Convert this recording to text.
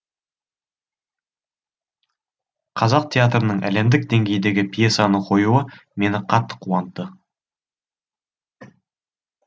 қазақ театрының әлемдік деңгейдегі пьесаны қоюы мені қатты қуантты